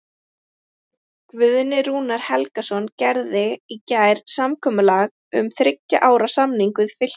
Guðni Rúnar Helgason gerði í gær samkomulag um þriggja ára samning við Fylki.